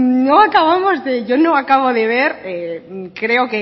no acabamos yo no acabo de ver creo